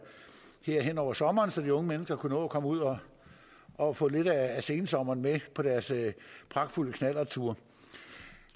her hen over sommeren så de unge mennesker kunne nå at komme ud og og få lidt af sensommeren med på deres pragtfulde knallertture